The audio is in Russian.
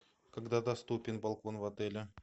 когда доступен балкон в отеле